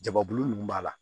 Jababulu nunnu b'a la